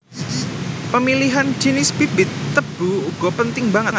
Pemilihan jinis bibit tebu uga penting banget